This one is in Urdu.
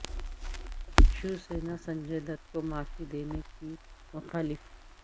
شیو سینا سنجے دت کو معافی دینے کی مخالف